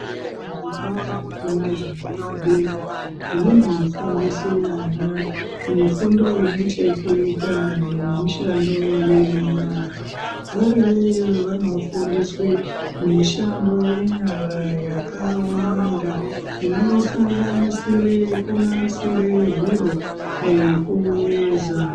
Zvikora zvepakati nezvepadera, zvinofundise ana mifundo ine chekuita nemishando yenyara. Variyo iyoyo vanofundiswe, mishando yenyara yakawanda, inosanganisire kunasire zviro nekuveza.